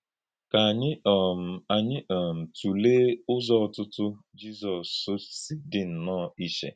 Kà ànyí um ànyí um tụ̀lèè ùzò ọ̀tụ̀tụ̀ Jízọs sị dì nnọọ ìchè.